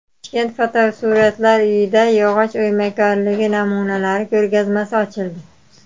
Toshkent fotosuratlar uyida yog‘och o‘ymakorligi namunalari ko‘rgazmasi ochildi .